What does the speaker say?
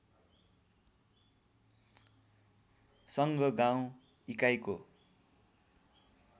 सङ्घ गाउँ इकाइको